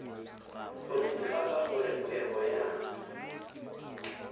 go netefatsa gore kgwebo ya